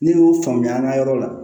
Ne y'o faamuya an ka yɔrɔ la